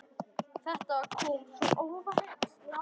Þetta kom svo óvænt.